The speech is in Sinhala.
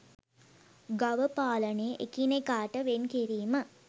ගව පාලනය එකිනෙකට වෙන් කිරීම